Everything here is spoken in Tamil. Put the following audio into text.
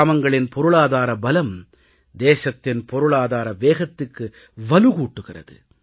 கிராமங்களின் பொருளாதார பலம் தேசத்தின் பொருளாதார வேகத்துக்கு வலு கூட்டுகிறது